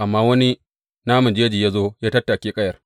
Amma wani naman jeji ya zo ya tattake ƙayar.